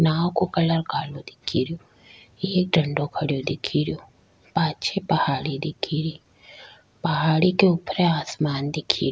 नाव का कलर कालो दिखे रियो एक डंडों खड़ेयो दिखे रियो पाछे पहाड़ी दिखे री पहाड़ी के ऊपरे आसमान दिखे।